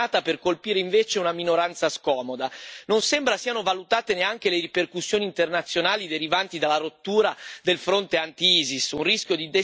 Non sembra siano valutate neanche le ripercussioni internazionali derivanti dalla rottura del fronte anti ISIS, un rischio di destabilizzazione dai potenziali effetti devastanti.